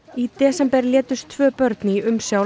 í desember létust tvö börn í umsjá